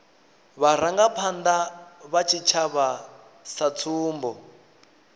vharangaphanda vha tshitshavha sa tsumbo